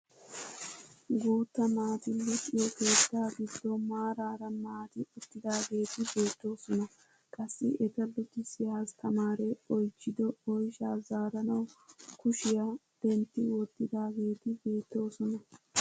Guutta naati luxiyoo keettaa giddon maarara naati uttidageeti beettoosona. qassi eta luxxisiyaa astamaree oychchido oyshshaa zaaranawu kushiyaa dentti wottidaageti beettoosona.